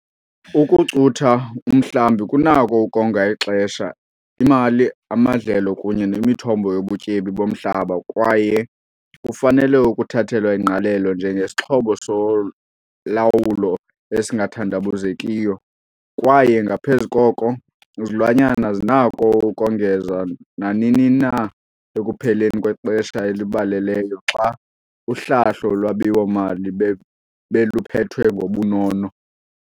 Ukucutha umhlambi kunako ukonga ixesha, imali, amadlelo kunye nemithombo yobutyebi bomhlaba kwaye kufanele ukuthathelwa ingqalelo njengesixhobo solawulo esingathandabuzekiyo kwaye ngaphezu koko, izilwanyana zinako ukongezwa nanini ekupheleni kwexesha elibaleleyo xa uhlahlo lwabiwo-mali beluphethwe ngobunono.